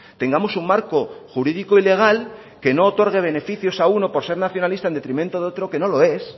tengamos un marco jurídico y legal que no otorgue beneficios a uno por ser nacionalista en detrimento de otro que no lo es